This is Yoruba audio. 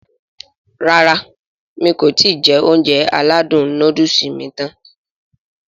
Rárá mi kò ti jẹ Ounjẹ aládùn nóódùsì mi tán